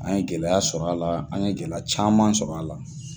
An ye gɛlɛya sɔrɔ a la, an ye gɛlɛya caman sɔrɔ a la.